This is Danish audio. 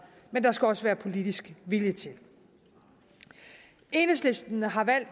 men der skal også være politisk vilje til det enhedslisten har